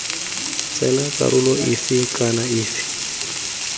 tsena karolo efe kana efe